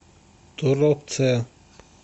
торопце